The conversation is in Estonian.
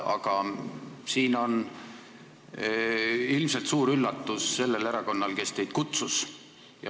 Kuid siin on ilmselt suur üllatus sellele erakonnale, kes teid siia kutsus.